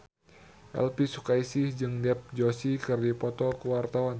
Elvi Sukaesih jeung Dev Joshi keur dipoto ku wartawan